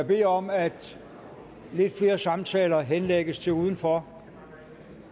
bede om at lidt flere samtaler henlægges til udenfor